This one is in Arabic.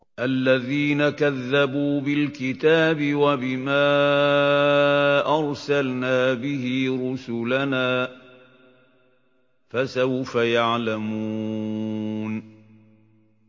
الَّذِينَ كَذَّبُوا بِالْكِتَابِ وَبِمَا أَرْسَلْنَا بِهِ رُسُلَنَا ۖ فَسَوْفَ يَعْلَمُونَ